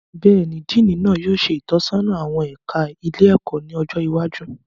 Béèni, Diini náà yóò ṣe itọsọna awọn ẹka ilé-ẹkọ ní ọjọ iwájú